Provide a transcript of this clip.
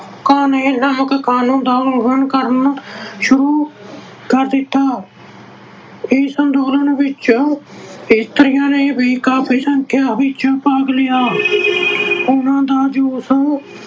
ਨਮਕ ਕਾਨੂੰਨ ਦਾ ਉਲੰਘਣ ਕਰਨਾ ਸ਼ੁਰੂ ਕਰ ਦਿੱਤਾ। ਇਸ ਅੰਦੋਲਨ ਵਿੱਚ ਇਸਤਰੀਆਂ ਨੇ ਵੀ ਕਾਫੀ ਸੰਖਿਆ ਵਿੱਚ ਭਾਗ ਲਿਆ। ਉਹਨਾਂ ਦਾ ਜੋਸ਼